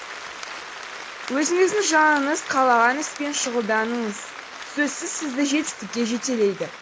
өзіңіздің жаныңыз қалаған іспен шұғылданыңыз сөзсіз сізді жетістікке жетелейді